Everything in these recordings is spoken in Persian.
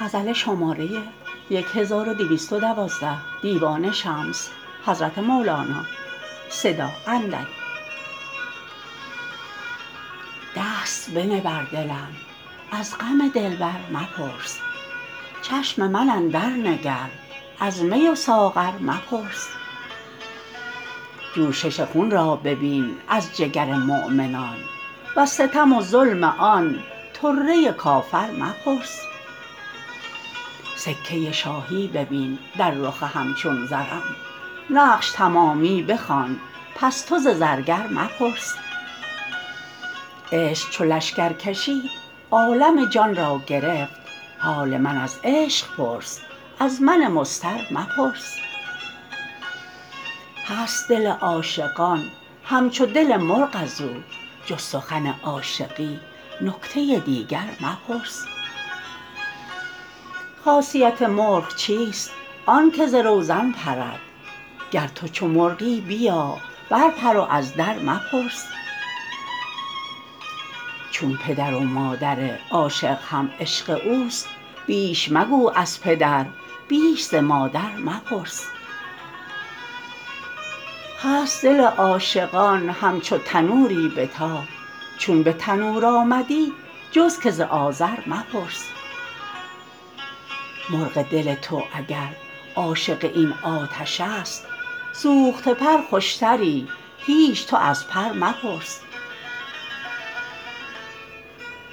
دست بنه بر دلم از غم دلبر مپرس چشم من اندرنگر از می و ساغر مپرس جوشش خون را ببین از جگر مؤمنان وز ستم و ظلم آن طره کافر مپرس سکه شاهی ببین در رخ همچون زرم نقش تمامی بخوان پس تو ز زرگر مپرس عشق چو لشکر کشید عالم جان را گرفت حال من از عشق پرس از من مضطر مپرس هست دل عاشقان همچو دل مرغ از او جز سخن عاشقی نکته دیگر مپرس خاصیت مرغ چیست آنک ز روزن پرد گر تو چو مرغی بیا برپر و از در مپرس چون پدر و مادر عاشق هم عشق اوست بیش مگو از پدر بیش ز مادر مپرس هست دل عاشقان همچو تنوری به تاب چون به تنور آمدی جز که ز آذر مپرس مرغ دل تو اگر عاشق این آتشست سوخته پر خوشتری هیچ تو از پر مپرس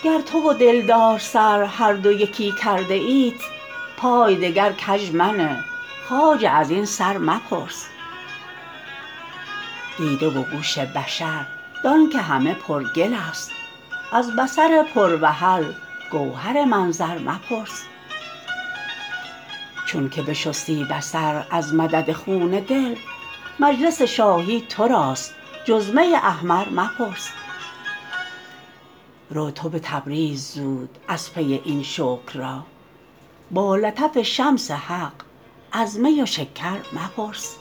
گر تو و دلدار سر هر دو یکی کرده اید پای دگر کژ منه خواجه از این سر مپرس دیده و گوش بشر دان که همه پرگلست از بصر پروحل گوهر منظر مپرس چونک بشستی بصر از مدد خون دل مجلس شاهی تو راست جز می احمر مپرس رو تو به تبریز زود از پی این شکر را با لطف شمس حق از می و شکر مپرس